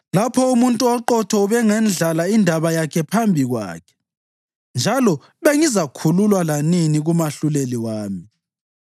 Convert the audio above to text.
Lapho umuntu oqotho ubengendlala indaba yakhe phambi kwakhe, njalo bengizakhululwa lanini kumahluleli wami.